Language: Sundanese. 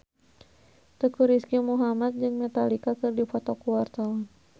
Teuku Rizky Muhammad jeung Metallica keur dipoto ku wartawan